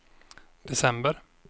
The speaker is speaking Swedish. december